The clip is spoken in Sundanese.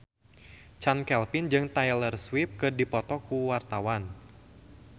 Chand Kelvin jeung Taylor Swift keur dipoto ku wartawan